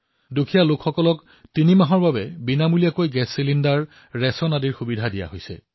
দুখীয়াক তিনি মাহৰ বিনামূলীয়া চিলিণ্ডাৰ খাদ্যসামগ্ৰীৰ সুবিধা প্ৰদান কৰা হৈছে